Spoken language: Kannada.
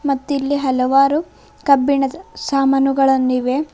ಮತ್ತಿಲ್ಲಿ ಹಲವಾರು ಕಬ್ಬಿಣದ ಸಾಮಾನುಗಳನ್ನು ಇವೆ.